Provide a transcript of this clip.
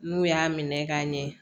N'u y'a minɛ ka ɲɛ